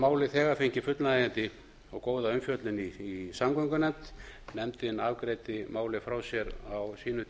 málið þegar fengið fullnægjandi og góða umfjöllun í samgöngunefnd nefndin afgreiddi málið frá sér á sínum